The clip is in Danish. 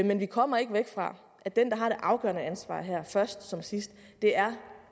men vi kommer ikke væk fra at den der har det afgørende ansvar her først som sidst er